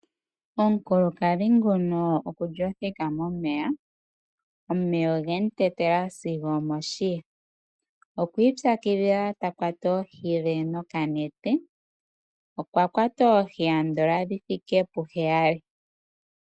Omukulakadhi nguno okwa thikama momeya. Omeya oge mu tetela moshiya. Okwi ipyakidhila ta kwata oohi dhe nokanete. Okwa kwata oohi dhi thike puheyali.